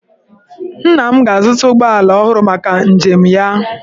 Nna m ga-azụta ụgbọala ọhụrụ maka njem ya.